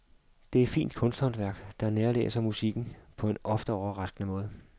Det er fint kunsthåndværk der nærlæser musikken på en ofte overraskende måde.